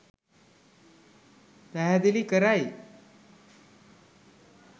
පැහැදිලි කරයි.